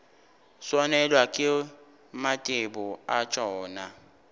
swanelwa ke mathebo a tšona